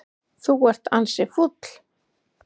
Þú ert ansi fúll.